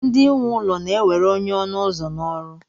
ndị nwe ụlọ na-ewere onye ọnụ ụzọ na ọrụ